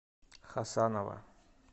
хасанова